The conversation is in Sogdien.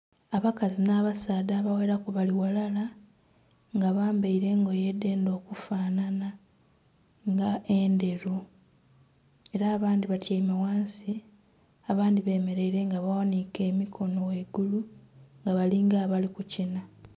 Abakazi n'abasaadha abagheraku bali ghalala nga bambaire engoye edhendha okufanhanha, nga endheru. Era abandhi batyaime ghansi, abandhi bemeleire nga baghaniike emikono ghaigulu, nga bali nga abali kukina.